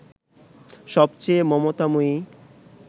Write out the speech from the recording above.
সবচেয়ে মমতাময়ী